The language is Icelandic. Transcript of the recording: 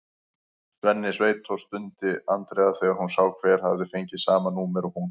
Svenni sveitó! stundi Andrea þegar hún sá hver hafði fengið sama númer og hún.